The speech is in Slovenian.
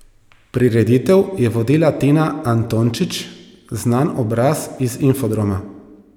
Prireditev je vodila Tina Antončič, znan obraz iz Infodroma.